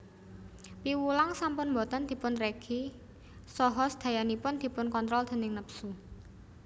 Piwulang sampun boten dipunregi saha sedayanipun dipunkontrol déning nepsu